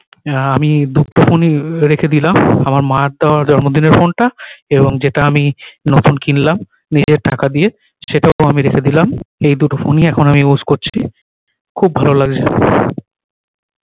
আহ আমি দুটো ফোন ই রেখে দিলাম আমার মার দেওয়ার জন্ম দিনের ফোন টা এবং যেটা আমি নতুন কিনলাম নিজের টাকা দিয়ে সেটাকেও আমি রেখে দিলাম এই দুটো ফোন ই এখন আমি use করছি খুব ভালো লাগছে